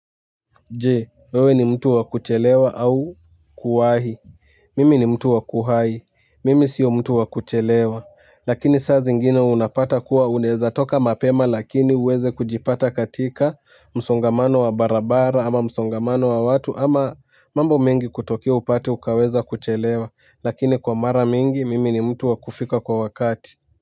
Jee, wewe ni mtu wakuchelewa au kuahi. Mimi ni mtu wakuhai. Mimi sio mtu wakuchelewa. Lakini saa zingine unapata kuwa uneza toka mapema lakini uweze kujipata katika msongamano wa barabara ama msongamano wa watu ama mambo mengi kutokea upate ukaweza kuchelewa. Lakini kwa mara mingi, mimi ni mtu wakufika kwa wakati.